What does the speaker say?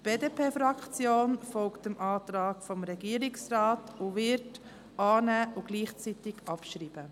Die BDP-Fraktion folgt dem Antrag des Regierungsrates und wird annehmen und gleichzeitig abschreiben.